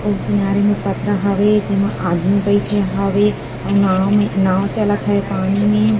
ओ किनारे में पथरा हावे जेमा आदमी बइठे हावे अउ नाँव में नाँव चलत हे पानी में--